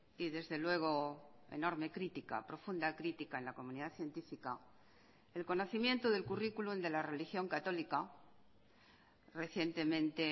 y desde luego enorme crítica profunda crítica en la comunidad científica el conocimiento del currículum de la religión católica recientemente